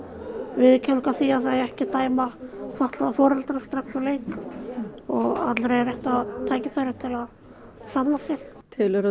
viðurkenning á því að það eigi ekki að dæma fatlaða foreldra strax úr leik og allir eiga rétt á tækifæri til að sanna sig telur þú